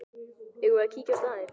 Eigum við að kíkja á staðinn?